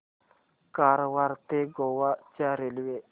कारवार ते गोवा च्या रेल्वे